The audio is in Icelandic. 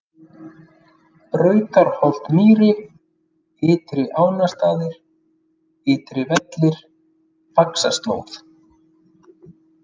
Brautarholt-Mýri, Ytri-Ánastaðir, Ytri-Vellir, Faxaslóð